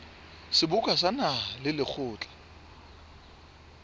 seboka sa naha le lekgotla